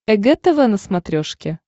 эг тв на смотрешке